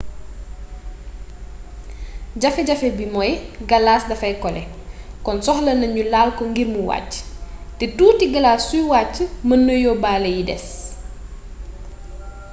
jafe jafe bi mooy galas dafay kole kon soxlana ñu laal ko ngir mu wàcc te tuuti galas suy wàcc mën na yóbbaale yi des